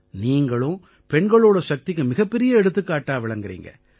நீங்களும் பெண்களோட சக்திக்கு மிகப்பெரிய எடுத்துக்காட்டா விளங்கறீங்க